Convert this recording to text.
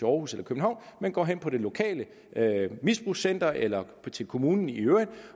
aarhus eller københavn men går hen på det lokale misbrugscenter eller til kommunen i øvrigt